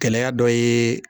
Gɛlɛya dɔ ye